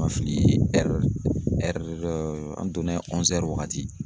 Ma fili an donnen waagati